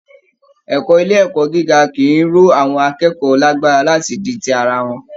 Ẹ̀kọ́ ilé ẹ̀kọ́ gíga kì í ró àwọn akẹ́kọ̀ọ́ lágbára láti di ti ara wọn